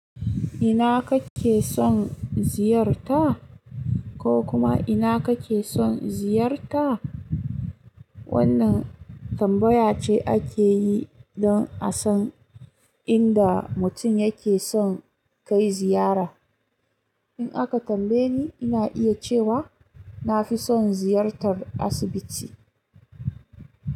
Ina kake son ziyarta ko kuma ina kake son ziyarta? Wannan tambaya ce ake yi don a san inda mutum yake son kai ziyara. In aka tambaye ni, ina iya cewa na fi son ziyartar asibiti.